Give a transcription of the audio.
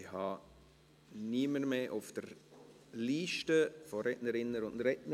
Ich habe niemanden mehr auf der Liste der Rednerinnen und Rednern.